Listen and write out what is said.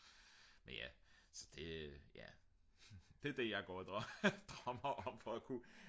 men ja så det ja det er det jeg går og drømmer om for at kunne